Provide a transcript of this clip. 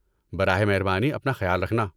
براہ مہربانی اپنا خیال رکھنا۔